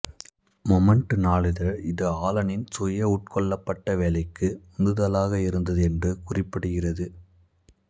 moment நாளிதழ் இது ஆலனின் சுயஉட்கொள்ளபட்ட வேலைக்கு உந்துதலாக இருந்தது என்று குறிப்பிடுகிறது